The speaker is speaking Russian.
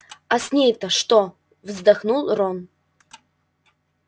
а с ней-то что вздохнул рон